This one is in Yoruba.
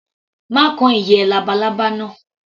Má kan ìyẹ́ labalábá náà.